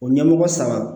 O ɲɛmɔgɔ saba